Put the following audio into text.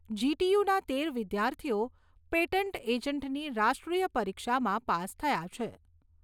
જી.ટી.યુ.ના તેર વિદ્યાર્થીઓ પેટન્ટ એજન્ટની રાષ્ટ્રીય પરીક્ષામાં પાસ થયા છે.